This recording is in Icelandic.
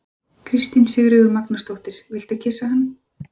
Kristín Sigríður Magnúsdóttir: Viltu kyssa hann?